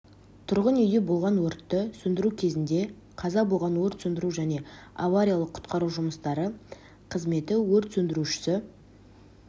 тұрғын-үйде болған өртті сөндіру кезінде қаза болған өрт сөндіру және авариялық-құтқару жұмыстары қызметі өрт сөндірушісі